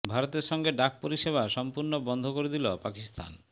ভারতের সঙ্গে ডাক পরিষেবা সম্পূর্ণ বন্ধ করে দিল পাকিস্তান